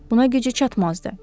Buna gücü çatmazdı.